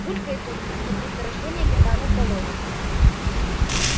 булькает тут как месторождение метана в болоте